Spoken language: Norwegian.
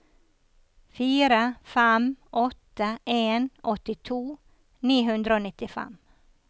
fire fem åtte en åttito ni hundre og nittifem